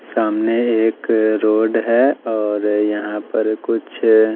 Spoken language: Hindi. सामने एक रोड है और यहां पर कुछ--